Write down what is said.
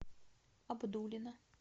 абдулино